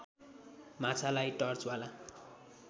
माछालाई टर्चवाला